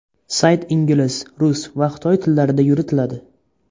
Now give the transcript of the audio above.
Sayt ingliz, rus va xitoy tillarida yuritiladi.